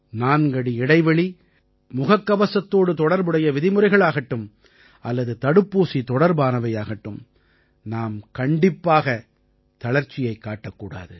நான்கடி இடைவெளி முகக்கவசத்தோடு தொடர்புடைய விதிமுறைகள் ஆகட்டும் அல்லது தடுப்பூசி தொடர்பானவையாகட்டும் நாம் கண்டிப்பாக தளர்ச்சியைக் காட்டக் கூடாது